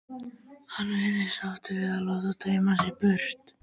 Hann virðist sáttur við að láta teyma sig í burtu.